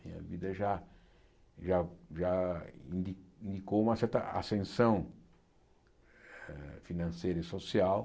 Minha vida já já já indi indicou uma certa ascensão financeira e social.